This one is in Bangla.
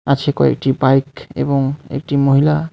আছে কয়েকটি বাইক এবং একটি মহিলা.